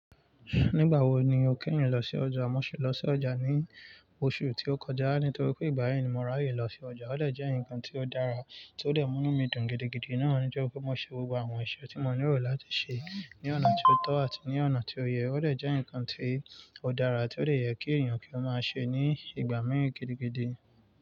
Nígbà wo ni o kẹ́yìn lọ sí ọjà? Mo ṣi lọ sí ọjà ní oṣù tí ó kọjá nítorí pé ìgbà yi ni mo ráyè lọ sí ọjà. Ó dẹ̀ jẹ́ ǹkan tí ó dára tó dẹ̀ múnú mí dùn gidigidi. Náà nitori pé mo ṣe gbogbo àwọn iṣẹ́ tí mo nílò láti ṣe ní ọ̀nà tí ó tọ́ àti ní ọ̀nà tí ó yẹ. Ó dẹ̀ jẹ́ ǹkan tí ó dára tí ó dè yẹ kí èyàn kí ó máa ṣe ní ìgbà mìí gidigidi.